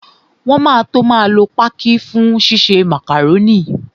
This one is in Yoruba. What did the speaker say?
Wọn máa tó máa lo pákí fún ṣíṣe màkàrónì